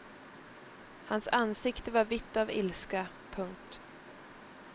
Hans ansikte var vitt av ilska. punkt